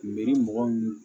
Miiri mɔgɔ min